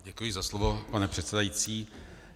Děkuji za slovo, pane předsedající.